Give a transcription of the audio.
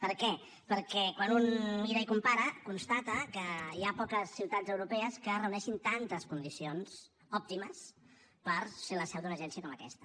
per què perquè quan un mira i compara constata que hi ha poques ciutats europees que reuneixin tantes condicions òptimes per ser la seu d’una agència com aquesta